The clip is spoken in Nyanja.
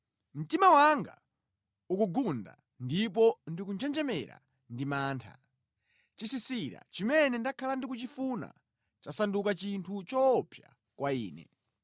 Mtima wanga ukugunda, ndipo ndikunjenjemera ndi mantha; chisisira chimene ndakhala ndikuchifuna chasanduka chinthu choopsa kwa ine.